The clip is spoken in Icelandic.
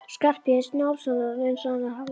Skarphéðins Njálssonar eins og hann hafði haldið.